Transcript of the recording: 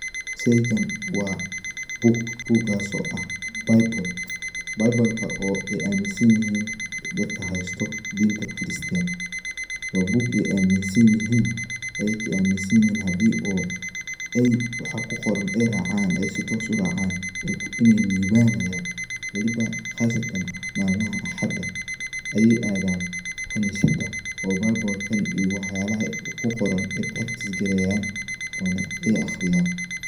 Sheygan wa buug. Buugas oo ah Bible, bible-ka oo ay aaminsan yihiin dadka haysto dinta kiristanka. waa buug ay aaminsan yihin hadii oo ay waxa kuqoran ay racaan ay si toos uracaan ay libanayan, weliba qasatan malmaha axada ayay aadan qanisada oo bible-kan waxa kuqoran ay baragtiis garayan ona ay aqriyaan